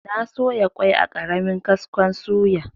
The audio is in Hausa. Na soya kwai a ƙaramin kaskon suya.